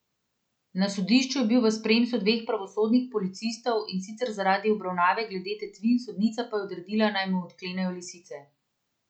Na sodišču je bil v spremstvu dveh pravosodnih policistov, in sicer zaradi obravnave glede tatvine, sodnica pa je odredila, naj mu odklenejo lisice.